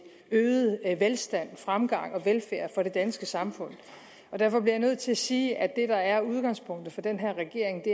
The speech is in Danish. øget velstand fremgang og velfærd for det danske samfund derfor bliver jeg nødt til at sige at det der er udgangspunktet for den her regering